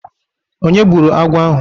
Onye gbụrụ agwọ ahụ?